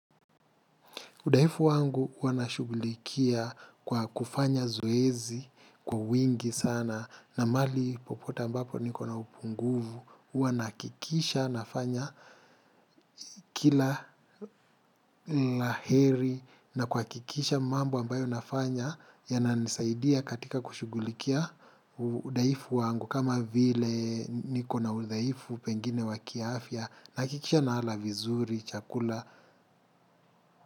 Udaifu wangu huwa nashugulikia kwa kufanya zoezi, kwa wingi sana, na mali popote ambapo niko na upunguvu, huwa nahakikisha nafanya kila la heri na kwakikisha mambo ambayo nafanya yananisaidia katika kushugulikia. Udaifu wangu kama vile niko na udhaifu pengine wa kiafya, nahakikisha naala vizuri, chakula.